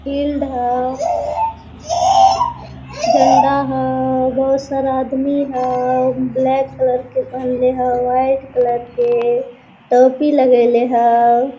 Field हव झंड़ा हव बहुत सारा आदमी हव ब्लैक कलर के पहिले हव व्हाइट कलर के टोपी लगाईले हव।